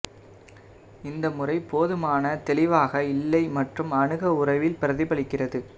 இந்த முறை போதுமான தெளிவாக இல்லை மற்றும் அணுக உறவு பிரதிபலிக்கிறது